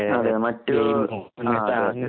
അതേ മറ്റു